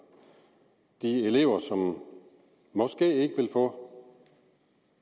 og de elever som måske ikke vil få